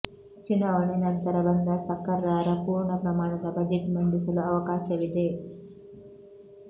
ಚುನಾವಣೆ ನಂತರ ಬಂದ ಸಕರ್ಾರ ಪೂರ್ಣ ಪ್ರಮಾಣದ ಬಜೆಟ್ ಮಂಡಿಸಲು ಅವಕಾಶವಿದೆ